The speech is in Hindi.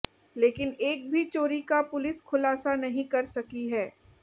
लेकिन एक भी चोरी का पुलिस खुलासा नहीं कर सकी है